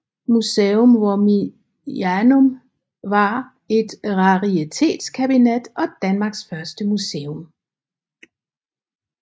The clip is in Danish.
Museum Wormianum var et raritetskabinet og Danmarks første museum